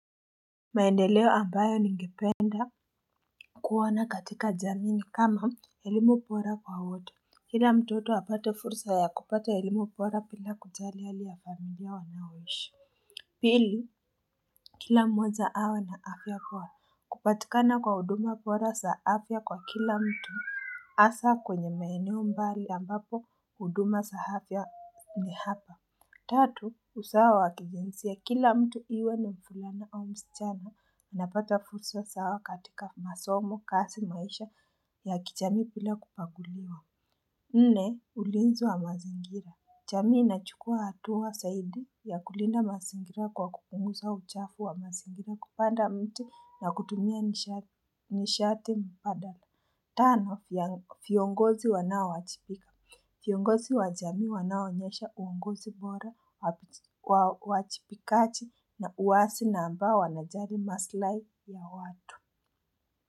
Maendeleo ambayo ningependa kuwana katika jamii kama elimu bora kwa wote. Kila mtoto apate fursa ya kupata elimu bora bila kujali hali ya familia wanaoishi. Pili kila mmoja awe na afya bora kupatikana kwa huduma bora za afya kwa kila mtu. Asa kwenye maeneo mbali ambapo huduma za afya ni hapa. Tatu, usawa wa kijinsia kila mtu iwe na mvulana au msichana. Napata fursa sawa katika masomo kazi maisha ya kijamii bila kubaguliwa. Nne, ulinzi wa mazingira. Jamii inachukua hatua zaidi ya kulinda mazingira kwa kupunguza uchafu wa mazingira kupanda mti na kutumia nishate mpadala. Tano, viongozi wanaowajibika. Viongozi wa jamii wanaonyesha uungozi bora uwachibikaji na uwasi na ambao wanajali maslai ya watu.